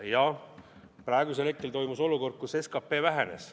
Jah, tekkis olukord, kus SKP vähenes.